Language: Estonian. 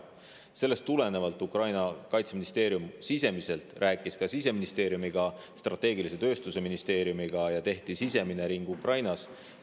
Sellest tulenevalt Ukraina kaitseministeerium rääkis ka siseministeeriumiga, strateegilise tööstuse ministeeriumiga ja tehti sisemine ring Ukrainas.